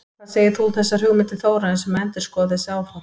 Hvað segir þú um þessar hugmyndir Þórarins um að endurskoða þessi áform?